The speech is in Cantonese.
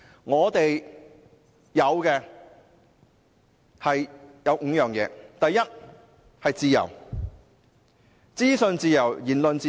我們擁有5項基石，第一項是自由，包括資訊自由和言論自由。